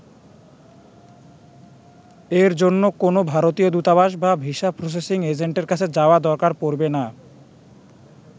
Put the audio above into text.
এর জন্য কোনও ভারতীয় দূতাবাস বা ভিসা প্রসেসিং এজেন্টের কাছে যাওয়ার দরকার পড়বে না।